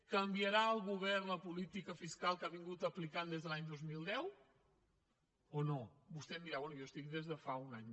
canviarà el govern la política fiscal que ha aplicat des de l’any dos mil deu o no vostè em dirà bé jo hi estic des de fa un any